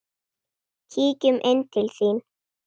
Kíkjum inn til þín